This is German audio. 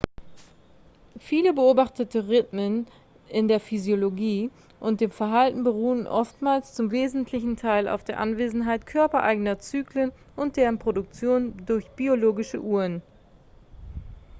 viele beobachtete rhythmen in der physiologie und dem verhalten beruhen oftmals zum wesentlichen teil auf der anwesenheit körpereigener zyklen und deren produktion durch biologische uhren.x